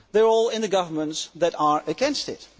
They are all in the governments that are against this.